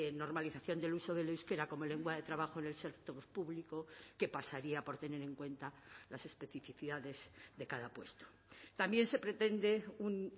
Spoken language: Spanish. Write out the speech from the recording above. normalización del uso del euskera como lengua de trabajo en el sector público que pasaría por tener en cuenta las especificidades de cada puesto también se pretende un